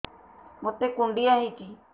ମୋତେ କୁଣ୍ଡିଆ ହେଇଚି